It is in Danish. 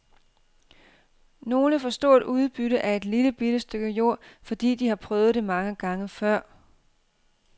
Nogle får stort udbytte af et lillebitte stykke jord, fordi de har prøvet det mange gange før.